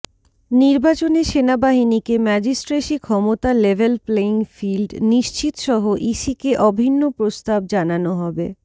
নির্বাচনে সেনাবাহিনীকে ম্যাজিস্ট্রেসি ক্ষমতা লেভেল প্লেয়িং ফিল্ড নিশ্চিতসহ ইসিকে অভিন্ন প্রস্তাব জানানো হবে